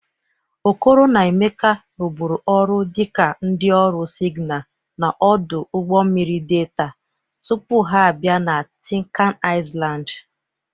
Okoro na Emeka rụbụrụ ọrụ dịka ndị ọrụ sịgnal n' ọdụ ụgbọ mmiri Delta tupu ha bịa na Tịnkan Ịlandị